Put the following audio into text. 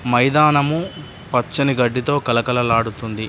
మైదానము పచ్చని గడ్డితో కళకళలాడుతుంది.